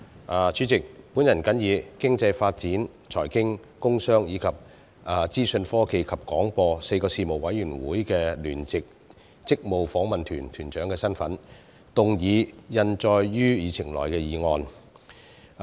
我是以經濟發展事務委員會、財經事務委員會、工商事務委員會，以及資訊科技及廣播事務委員會4個事務委員會的聯席事務委員會職務訪問團團長的身份，動議通過印載於議程內的議案。